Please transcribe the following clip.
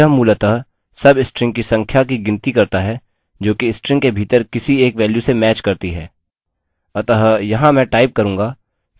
substring count यह मूलतः substring की संख्या की गिनती करता है जोकि स्ट्रिंग के भीतर किसी एक वेल्यू से मैच करती है